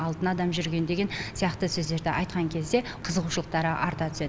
алтын адам жүрген деген сияқты сөздерді айтқан кезде қызығушылықтары арта түседі